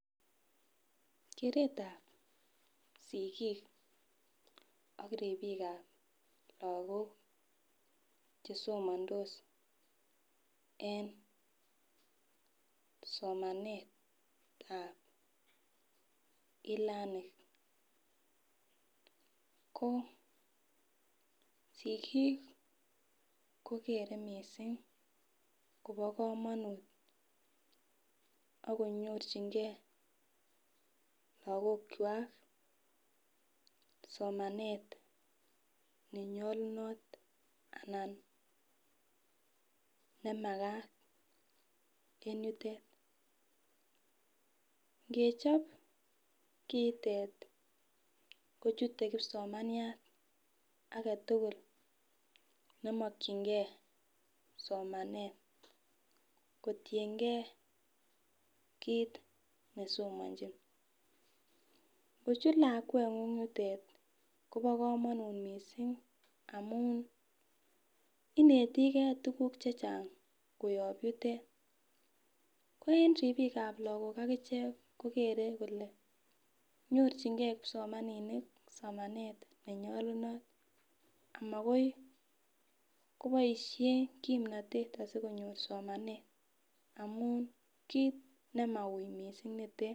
Keret ap sikiik ak ripik ap lakok chesomondos eng somanet ap e learning kosikis kokerei mising Kobo komonut akonyorchingei lakok kwach somanet nenyolunot anan nemakat en yutet ngechop kotet kochuten kipsomaniat aketukul nemakchingei somanet kotiengei kiit nesomonjin ngochut lakwengung yutet Kobo komonut mising amun inetikei tukuk che chang koop yutet ko en ripik ap lakok akichek kokere kole nyorchingei kipsomaninik somanet nenyolunot amakoi koboisie kimnotet asikonyor somanet amun kiit nimaui mising nitet.